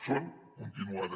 són continuades